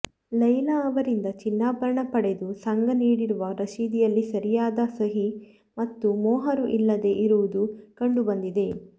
ಲೈಲ ಅವರಿಂದ ಚಿನ್ನಾಭರಣ ಪಡೆದು ಸಂಘ ನೀಡಿರುವ ರಶೀದಿಯಲ್ಲಿ ಸರಿಯಾದ ಸಹಿ ಮತ್ತು ಮೊಹರು ಇಲ್ಲದೆ ಇರುವುದು ಕಂಡು ಬಂದಿದೆ